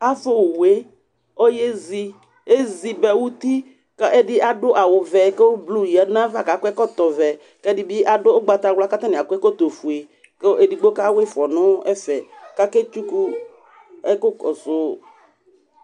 Ava owu yɛ, ɔyezi Ezi ba uti kʋ ɛdɩ adʋ awʋvɛ kʋ blu yǝdu nʋ ayava kʋ akɔ ɛkɔtɔvɛ kʋ ɛdɩ bɩ adʋ ʋgbawla kʋ atanɩ akɔ ɛkɔtɔfue kʋ edigbo kawa ɩfɔ nʋ ɛfɛ kʋ aketsuku ɛkʋkɔsʋ